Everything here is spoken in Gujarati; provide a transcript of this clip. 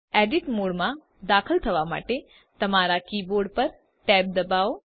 એડિટ મોડમાં દાખલ થવા માટે તમારા કીબોર્ડ પર tab ડબાઓ